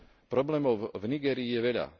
Problémov v Nigérii je veľa.